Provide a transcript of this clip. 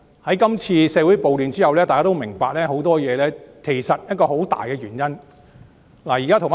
在今次社會暴亂之後，大家都明白發生的很多事情背後有一個很大的原因。